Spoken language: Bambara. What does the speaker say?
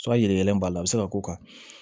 b'a la a bɛ se ka k'o kan